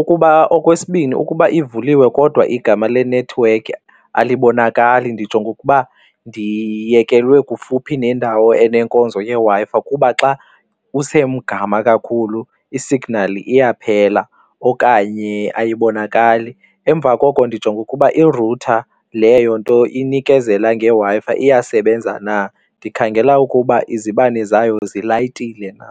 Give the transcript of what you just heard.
Ukuba okwesibini ukuba ivuliwe kodwa igama lenethiwekhi alibonakali ndijonga ukuba ndiyekelwe kufuphi nendawo anenkonzo yeWi-Fi kuba xa usemgama kakhulu isignali iyaphela okanye ayibonakali. Emva koko ndijonga ukuba i-router leyo nto inikezela ngeWi-Fi iyasebenza na, ndikhangela ukuba izibane zayo zilayitile na.